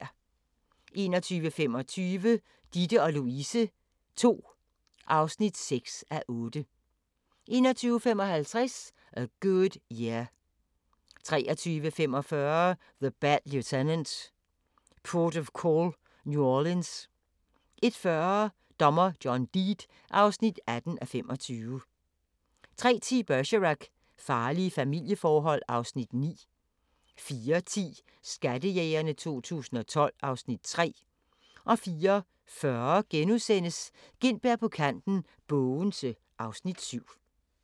21:25: Ditte & Louise II (6:8) 21:55: A Good Year 23:45: The Bad Lieutenant – Port of Call: New Orleans 01:40: Dommer John Deed (18:25) 03:10: Bergerac: Farlige familieforhold (Afs. 9) 04:10: Skattejægerne 2012 (Afs. 3) 04:40: Gintberg på kanten – Bogense (Afs. 7)*